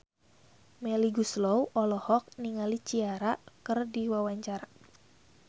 Melly Goeslaw olohok ningali Ciara keur diwawancara